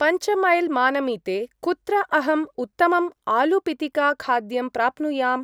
पञ्चमैल्-मानमिते कुत्र अहम् उत्तमम् आलू-पितिका-खाद्यं प्राप्नुयाम्?